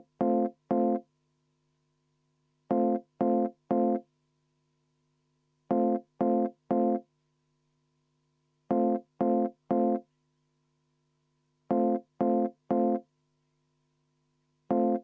Nii, oli hääletussoov, oli vaheajasoov ja oli kohaloleku kontrolli soov.